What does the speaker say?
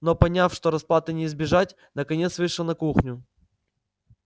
но поняв что расплаты не избежать наконец вышел на кухню